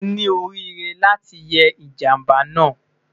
O ni orire lati ye ijamba naa